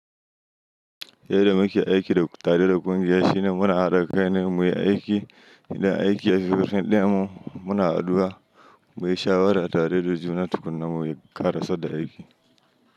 Yadda muke aiki da tarihin ƙungiya shine muna haɗa kai ne muyi aiki, idan aiki ya fi ƙarshe ɗaya mu muna haduwa muyi shawara tare da juna tukuna muyi kara sar da aiki.